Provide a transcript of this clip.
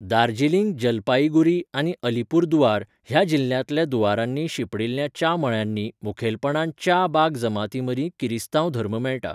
दार्जिलिंग, जलपाईगुरी आनी अलीपुरदुआर ह्या जिल्ह्यांतल्या दूअरांनी शिंपडिल्ल्या च्या मळ्यांनी मुखेलपणान च्या बाग जमातींमदीं किरिस्तांव धर्म मेळटा.